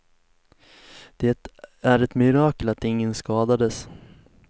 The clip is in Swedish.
Det är ett mirakel att ingen skadades.